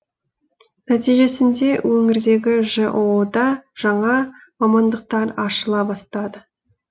нәтижесінде өңірдегі жоо да жаңа мамандықтар ашыла бастады